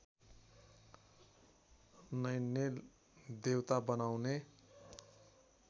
नैनेल देवता बनाउने